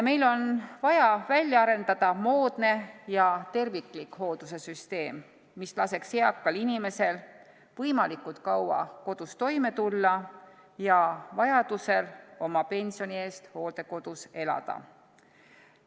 Meil on vaja välja arendada moodne ja terviklik hoolduse süsteem, mis laseks eakal inimesel võimalikult kaua kodus toime tulla ja vajaduse korral oma pensioni eest hooldekodus elada.